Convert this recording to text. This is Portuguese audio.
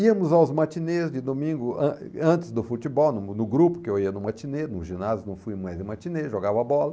Íamos aos matinês de domingo, an antes do futebol, no grupo que eu ia no matinê, no ginásio não fui mais no matinê, jogava bola.